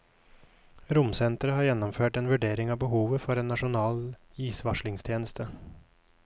Romsenteret har gjennomført en vurdering av behovet for en nasjonal isvarslingstjeneste.